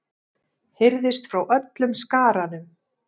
heyrðist frá öllum skaranum.